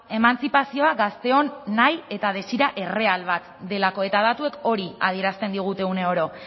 emantzipazioa gazteon nahi eta desira erreal bat delako eta datuek hori adierazten digute une oro